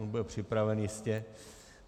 On byl připraven jistě.